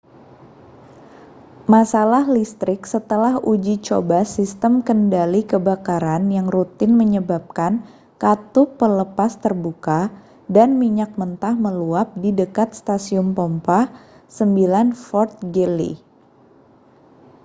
masalah listrik setelah uji coba sistem kendali kebakaran yang rutin menyebabkan katup pelepas terbuka dan minyak mentah meluap di dekat stasiun pompa 9 fort greely